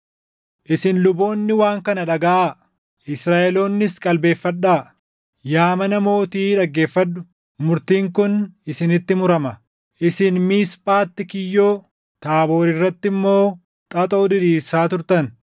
“Isin luboonni waan kana dhagaʼaa! Israaʼeloonnis qalbeeffadhaa! Yaa mana mootii dhaggeeffadhu! Murtiin kun isinitti murama: Isin Miisphaatti kiyyoo, Taaboor irratti immoo xaxoo diriirsaa turtan.